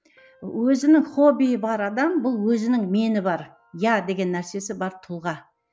өзінің хоббиі бар адам бұл өзінің мені бар я деген нәрсесі бар тұлға